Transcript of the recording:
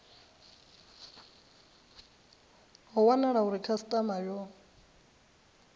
ho wanala uri khasitama yo